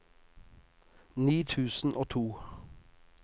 ni tusen og to